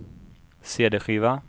cd-skiva